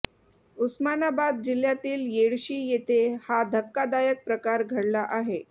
उस्मानाबाद जिल्ह्यातील येडशी येथे हा धक्कादायक प्रकार घडला आहे